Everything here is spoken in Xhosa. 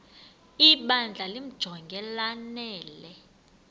ibandla limjonge lanele